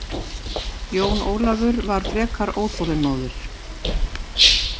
Jón Ólafur var frekar óþolinmóður.